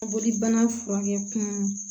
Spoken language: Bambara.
Bolibana furakɛ kun